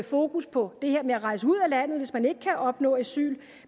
fokus på det her med at rejse ud af landet hvis man ikke kan opnå asyl